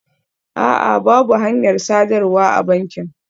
A'a, babu hanyar sadarwa a bankin